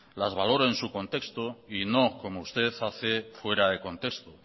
las valoró en su contexto y no como usted hace fuera de contexto